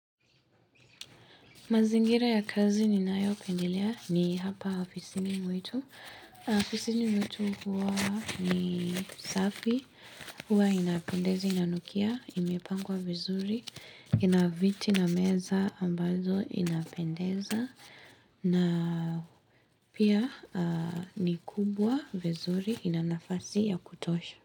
Mazingira ya kazi ni nayo pendelea ni hapa hafisini mwetu. Hafisini mwetu huwa ni safi. Huwa inapendeza inanukia, imepangwa vizuri. Inaviti na meza ambazo inapendeza. Na pia ni kubwa vizuri inanafasi ya kutosha.